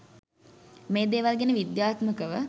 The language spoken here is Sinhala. මේ දේවල් ගැන විද්‍යාත්මකව